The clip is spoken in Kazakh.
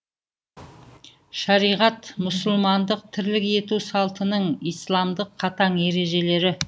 шариғат мұсылмандық тірлік ету салтының исламдық қатаң ережелері